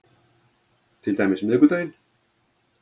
Til dæmis miðvikudaginn